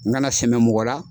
N kana sɛmɛ mɔgɔ la.